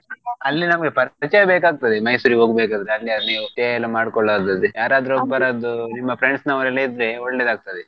ಅಲ್ಲಿ ಅಲ್ಲಿ ನಮ್ಗೆ ಪರಿಚಯ ಬೇಕಾಗ್ತದೆ Mysore ಹೋಗ್ಬೇಕಾದ್ರೆ ಅಲ್ಲಿ ಅಲ್ಲಿ stay ಎಲ್ಲಾ ಮಾಡ್ಕೋಳೊದಾದ್ರೆ ಯಾರಾದ್ರೂ ನಿಮ್ಮ friends ನವರೆಲ್ಲ ಇದ್ರೆ ಒಳ್ಳೆದಾಗ್ತದೆ.